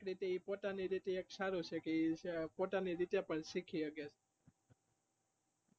એ પોતાની રીત થી સારુંછે કે ઈ ખોટા ની રીતે પણ શીખી હકે